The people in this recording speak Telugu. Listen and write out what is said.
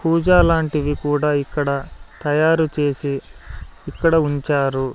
పూజా లాంటివి కూడా ఇక్కడ తయారుచేసి ఇక్కడ ఉంచారు.